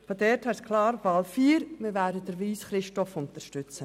Daher ist klar, dass wir bei der vierten Wahl Christoph Wyss unterstützen.